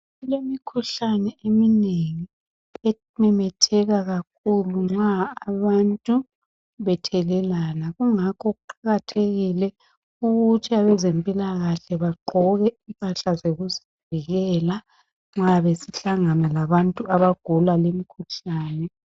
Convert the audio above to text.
Kulemikhuhlane eminengi ememetheka kakhulu nxa abantu bethelelana kungakho kuqakathekile ukuthi abezempilakahle bagqoke impahla zokuzivikela nxa behlangana labantu abagula limkhuhlane.